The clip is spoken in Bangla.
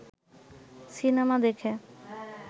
সিনেমা দেখে